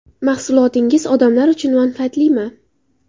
Mahsulotingiz odamlar uchun manfaatlimi?